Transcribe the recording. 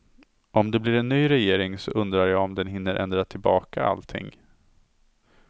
Om det blir en ny regering så undrar jag om den hinner ändra tillbaka allting.